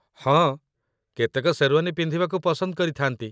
ହଁ, କେତେକ ଶେର୍ୱାନୀ ପିନ୍ଧିବାକୁ ପସନ୍ଦ କରିଥାନ୍ତି